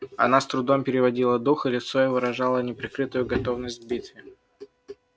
она с трудом переводила дух и лицо её выражало неприкрытую готовность к битве